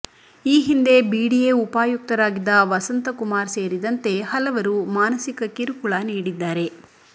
ಈ ಹಿಂದೆ ಬಿಡಿಎ ಉಪಾಯುಕ್ತರಾಗಿದ್ದ ವಸಂತಕುಮಾರ್ ಸೇರಿದಂತೆ ಹಲವರು ಮಾನಸಿಕ ಕಿರುಕುಳ ನೀಡಿದ್ದಾರೆ